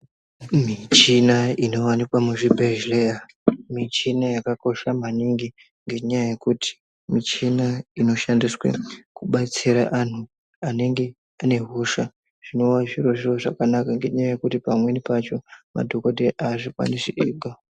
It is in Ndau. michina inowanikwa muzvibhehleya michini yakakosha maningi ngenyaya yekuti michini inoshandiswa kudetsera anhu anenge ane hosha zvinowa zvirozvo zvakanaka ngenyaya yekuti pamweni pacho madhokodheya aazvikwanisi ega.